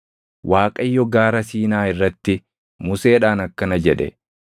Waaqayyo Gaara Siinaa irratti Museedhaan akkana jedhe;